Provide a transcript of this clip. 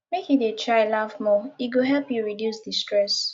make you dey try laugh more e go help you reduce di stress